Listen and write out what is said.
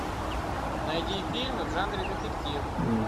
найди фильмы в жанре детектив